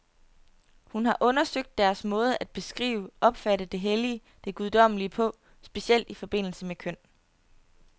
Hun har undersøgt deres måde at beskrive, opfatte det hellige, det guddommelige på, specielt i forbindelse med køn.